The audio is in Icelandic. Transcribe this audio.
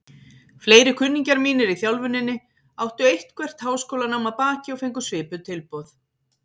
Fleiri kunningjar mínir í þjálfuninni áttu eitthvert háskólanám að baki og fengu svipuð tilboð.